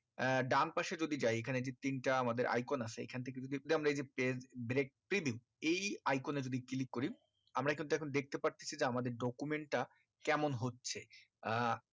আহ ডান পাশে যদি যাই এখানে যে তিনটা আমাদের icon আছে এখান থেকে যদি আমরা এই page brack এই icon এ যদি আমরা ক্লিক করি আমরা কিন্তু দেখতে পাচ্ছি যে আমাদের document টা কেমন হচ্ছে আহ